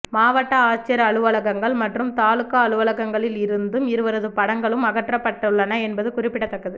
மாவட்ட ஆட்சியர் அலுவலகங்கள் மற்றும் தாலுகா அலுவலகங்களில் இருந்தும் இருவரது படங்களும் அகற்றப்பட்டள்ளன என்பது குறிப்பிடத்தக்கது